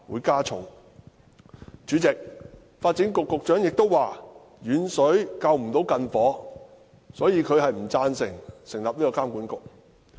主席，發展局局長亦表示，遠水不能救近火，因此他不贊成成立監管局。